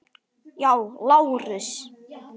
Já, Lárus!